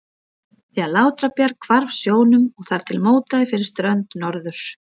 því að Látrabjarg hvarf sjónum og þar til mótaði fyrir strönd Norður-